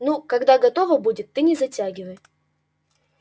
ну когда готово будет ты не затягивай